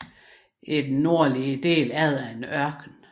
I den nordligste del er der en ørken